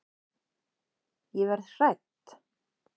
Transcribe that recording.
Ég verð hrædd.